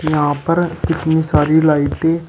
यहां पर कितनी सारी लाइटें --